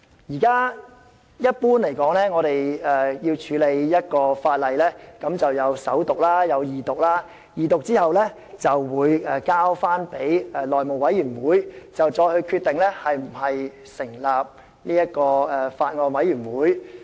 一般而言，一項法案的處理必須經過首讀、二讀，在二讀後交付內務委員會決定是否成立法案委員會。